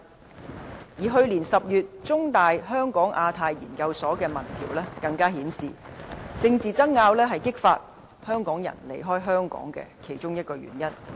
此外，去年10月，香港中文大學香港亞太研究所的民調更顯示政治爭拗是激發香港人離開香港的原因之一。